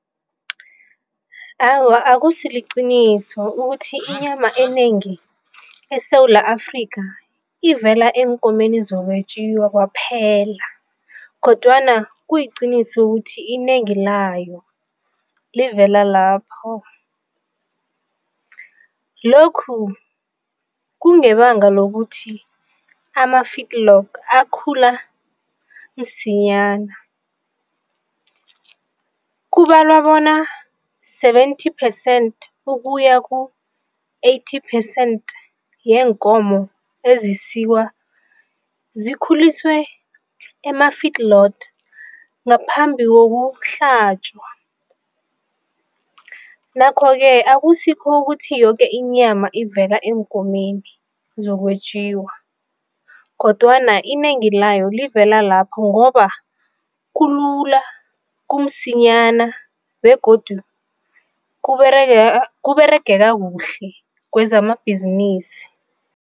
Awa, akusiliqiniso ukuthi inyama enengi eSewula Afrika ivela eenkomeni zokwetjiwa kwaphela kodwana kuyiqiniso ukuthi inengi layo livela lapho, lokhu kungebanga lokuthi akhula msinyana. Kubalwa bona seventy percent ukuya ku-eighty percent yeenkomo ezisukwe, zikhuliswe ngaphambi kokuhlatjwa, nakho-ke akusikho ukuthi yoke inyama ivela eenkomeni zokwetjiwa kodwana inengi layo livela lapho ngoba kulula, kumsinyana begodu kuberegeka kuhle kwezamabhizinisi.